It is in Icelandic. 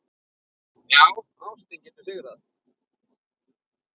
Já, ástin getur sigrað!